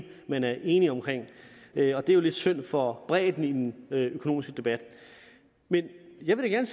man er enig i og det er jo lidt synd for bredden i den økonomiske debat men jeg vil da